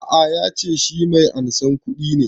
A'a ya ce shi mai ansan kuɗi ne